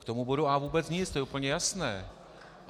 K tomu bodu A vůbec nic, to je úplně jasné.